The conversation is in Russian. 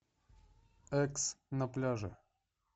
экс на пляже